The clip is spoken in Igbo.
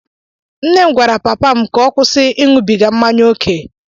Nne m gwara papa m ka ọ kwụsị ịṅụbiga mmanya ókè.